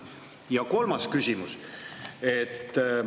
Ja kolmas küsimus.